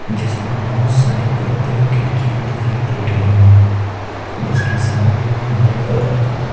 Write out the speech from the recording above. जिसमें बोहोत सारी बड़ी-बड़ी खिड़कियाँ दिखाई दे रही हैं जिसके सामने में हरे कलर का --